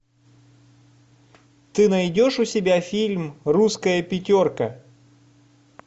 ты найдешь у себя фильм русская пятерка